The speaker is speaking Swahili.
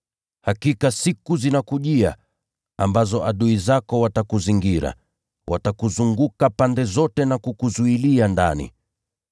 Hakika siku zinakujia, ambazo adui zako watakuzingira, nao watakuzunguka pande zote na kukuzuilia ndani.